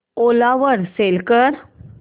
ओला वर सेल कर